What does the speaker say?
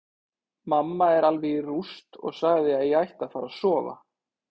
Mamma er alveg í rúst og sagði að ég ætti að fara að sofa.